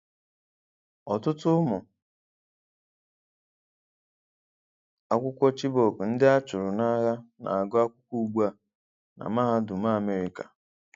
Ọtụtụ ụmụ akwụkwọ Chibok bụ ndị a chụrụ n'agha na-agụ akwụkwọ ugbu a na mahadum America